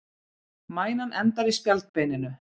Mænan endar í spjaldbeininu.